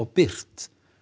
birt